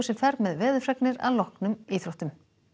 fer með veðurfregnir að loknum íþróttum